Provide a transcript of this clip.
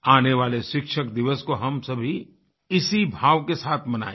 आने वाले शिक्षक दिवस को हम सभी इसी भाव के साथ मनाएँ